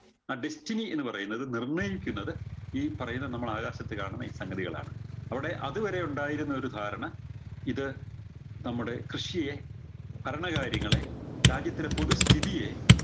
ആ destiny എന്നത് നിർണയിക്കുന്നത് ഈ പറയുന്ന നമ്മള് ആകാശത്ത് കാണുന്ന ഈ സംഗതികളാണ് അവിടെ അതുവരെ ഉണ്ടായിരുന്ന ഒരു ധാരണ ഇത് നമ്മുടെ കൃഷിയെ ഭരണ കാര്യങ്ങളെ രാജ്യത്തിലെ പൊതുസ്ഥിതിയെ